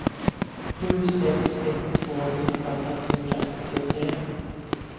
sju sex ett två nitton etthundrafyrtiotre